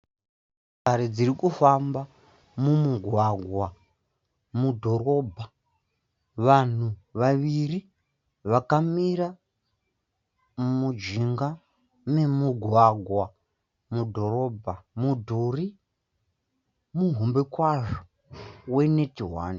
Motokari dziri kufamba mumugwagwa mudhorobha. Vanhu vaviri vakamira mujinga memugwagwa mudhorobha. Mune mudhuri muhombe kwazvo we net one.